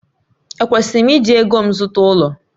Ekwesịrị m iji ego m zụta ụlọ?